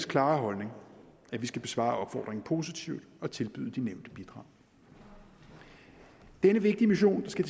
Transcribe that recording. klare holdning at vi skal besvare opfordringen positivt og tilbyde de nævnte bidrag denne vigtige mission der skal